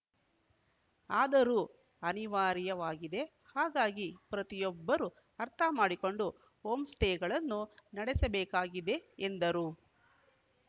ಆದರೂ ಅನಿವಾರ್ಯವಾಗಿದೆ ಹಾಗಾಗಿ ಪ್ರತಿಯೊಬ್ಬರೂ ಅರ್ಥಮಾಡಿಕೊಂಡು ಹೋಂ ಸ್ಟೇಗಳನ್ನು ನಡೆಸಬೇಕಾಗಿದೆ ಎಂದರು